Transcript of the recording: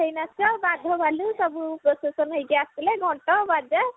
କଣ୍ଢେଇ ନାଚ ବାଘ ଭାଲୁ ସବୁ ପ୍ରସେଶନ ହେଇକି ଆସିଲେ ଘଣ୍ଟ ବାଜା